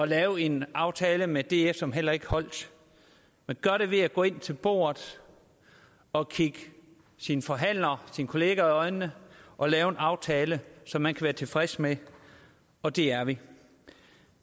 lave en aftale med df som heller ikke holdt man gør det ved at gå med ind til bordet og kigge sine forhandlere og sine kollegaer i øjnene og lave en aftale som man kan være tilfreds med og det er vi